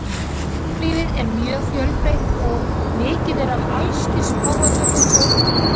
Fuglalífið er mjög fjölbreytt og mikið er af allskyns páfagaukum og uglum.